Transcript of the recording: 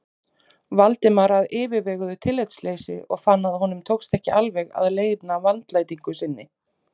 Valdimar af yfirveguðu tillitsleysi og fann að honum tókst ekki alveg að leyna vandlætingu sinni.